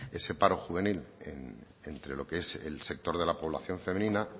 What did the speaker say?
ese paro juvenil entre lo que es el sector de la población femenina